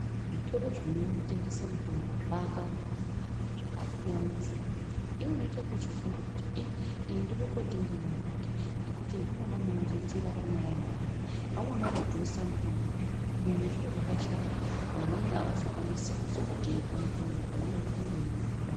Zvitoro zvinotengese mitombo zvakabaawanda zvakasiyana siyana iwewe unochiita ekufunga kuti iii ini ndode kutenga kwanhingingekuti ndimwona munondiitira panyaya uemare vamweni vanodhurisa mitombo kubeni zviro zvakashata vamweni avazokwanisi kuzoutenga mutombo uyu ngenyaya yekuti unenge weidhura .